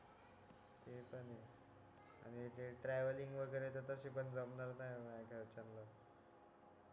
अरे ते ट्रॅव्हलिंग वगैरे तर तशी पण जमणार माझ्या घरच्यांना